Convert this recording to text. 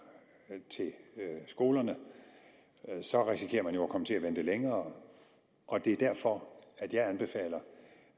til skolerne så risikerer man jo at komme til at vente længere det er derfor